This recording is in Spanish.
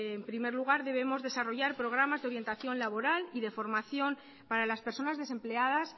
en primer lugar debemos desarrollar programas de orientación laboral y de formación para las personas desempleadas